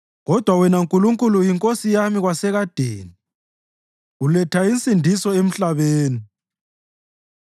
Kodwa wena Nkulunkulu uyiNkosi yami kwasekadeni; uletha insindiso emhlabeni.